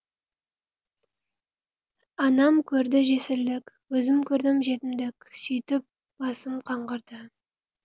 анам көрді жесірлік өзім көрдім жетімдік сүйтіп басым қаңғырды